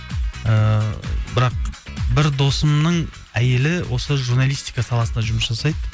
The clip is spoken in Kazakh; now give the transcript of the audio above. ііі бірақ бір досымның әйелі осы журналистика саласында жұмыс жасайды